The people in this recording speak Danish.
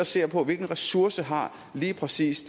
ser på hvilke ressourcer lige præcis